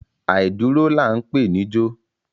Àìdúró là ń pè níjó.